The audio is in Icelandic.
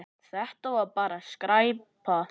Þetta var bara skræpa.